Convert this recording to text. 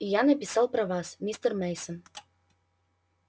и я написал про вас мистер мейсон